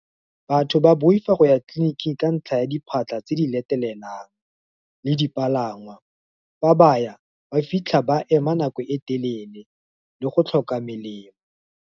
Batho ba boifa go ya tleliniking ka ntlha ya diphatlha tse di letlelelang, le dipalangwa, fa baya ba fitlha ba ema nako e telele, le go tlhoka melemo.